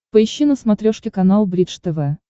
поищи на смотрешке канал бридж тв